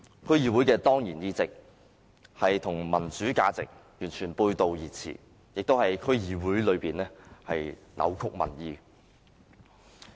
區議會的當然議席與民主價值完全背道而馳，亦在議會內扭曲民意。